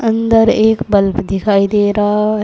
अंदर एक बल्ब दिखाई दे रहा है।